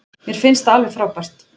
Mér finnst það alveg frábært.